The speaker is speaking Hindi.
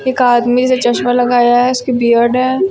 एक आदमी जो चश्मा लगाया है उसकी बियर्ड है।